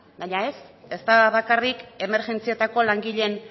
baina ez ez da bakarrik emergentzietako langileen